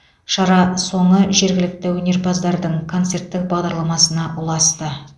шара соңы жергілікті өнерпаздардың конуерттік бағдарламасына ұласты